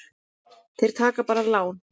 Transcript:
Þeir taki bara lán.